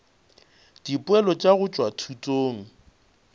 dipoelo tša go tšwa thutong